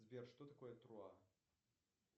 сбер что такое труа